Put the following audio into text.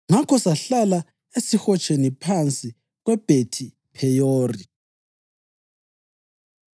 Ngakho sahlala esihotsheni phansi kweBhethi-Pheyori.”